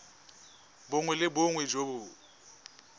bongwe le bongwe jo bo